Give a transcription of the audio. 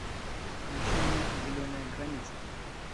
включи мне зеленая граница